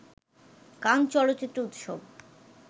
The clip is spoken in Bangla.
কান চলচ্চিত্র উৎসব